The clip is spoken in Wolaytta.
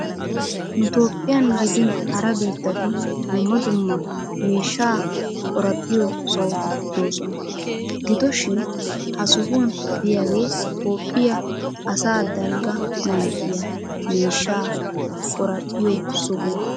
Nu tophphiyan gidin hara biittatun dumma dumma miishshaa qorraphphiyo sohoti doosona. Gido shin ha sohuwan diyagee Tophphiya asa dalgga manttiya miishshaa qoraphphiyo sohuwa.